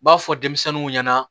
N b'a fɔ denmisɛnninw ɲɛna